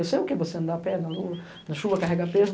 Eu sei o que é você andar a pé, na lua, na chuva, carregar peso.